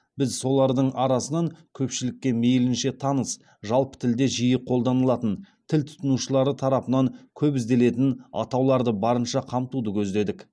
біз солардың арасынан көпшілікке мейлінше таныс жалпы тілде жиі қолданылатын тіл тұтынушылары тарапынан көп ізделетін атауларды барынша қамтуды көздедік